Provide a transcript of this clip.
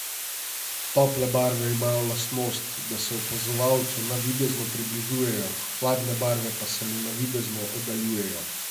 Tople barve imajo lastnost, da se opazovalcu navidezno približujejo, hladne barve pa se mu navidezno oddaljujejo.